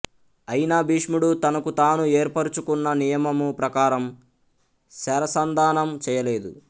అయినా భీష్ముడు తనకుతాను ఏర్పరుచుకున్న నియమము ప్రకారము శరసంధానము చేయలేదు